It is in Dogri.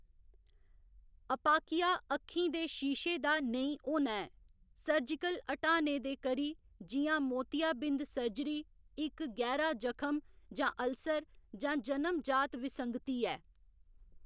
अपाकिया अक्खीं दे शीशे दा नेईं होना ऐ, सर्जिकल ह्‌टाने दे करी, जि'यां मोतियाबिंद सर्जरी, इक्क गैह्‌रा जखम जां अल्सर, जां जनम जात विसंगति ऐ।